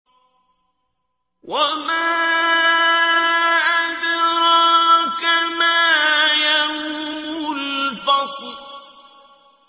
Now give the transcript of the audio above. وَمَا أَدْرَاكَ مَا يَوْمُ الْفَصْلِ